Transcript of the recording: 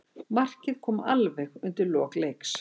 Markið kom alveg undir lok leiks.